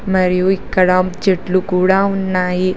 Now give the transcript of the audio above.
మరియు ఇక్కడ చెట్లు కూడా ఉన్నాయి.